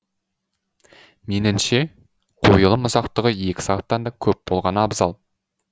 меніңше қойылым ұзақтығы екі сағаттан да көп болғаны абзал